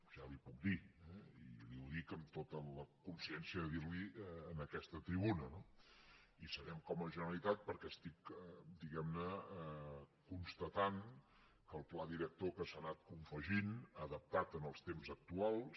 ja li ho puc dir i li ho dic amb tota la consciència de dirliho en aquesta tribuna no hi serem com a generalitat perquè estic diguemne constatant que el pla director que s’ha anat confegint adaptat als temps actuals